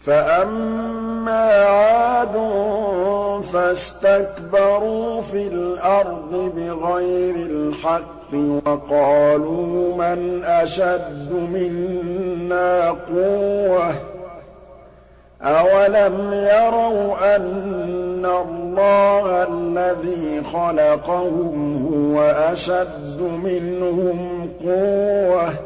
فَأَمَّا عَادٌ فَاسْتَكْبَرُوا فِي الْأَرْضِ بِغَيْرِ الْحَقِّ وَقَالُوا مَنْ أَشَدُّ مِنَّا قُوَّةً ۖ أَوَلَمْ يَرَوْا أَنَّ اللَّهَ الَّذِي خَلَقَهُمْ هُوَ أَشَدُّ مِنْهُمْ قُوَّةً ۖ